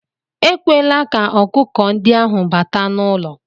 Ekwela ka ọkụkọ ndị ahụ bata n'ụlọ